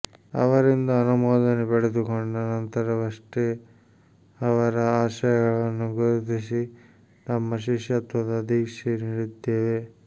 ಅವರಿಂದ ಅನುಮೋದನೆ ಪಡೆದುಕೊಂಡ ನಂತರವಷ್ಟೇ ಅವರ ಆಶಯಗಳನ್ನು ಗುರುತಿಸಿ ನಮ್ಮ ಶಿಷ್ಯತ್ವದ ದೀಕ್ಷೆ ನೀಡಿದ್ದೇವೆ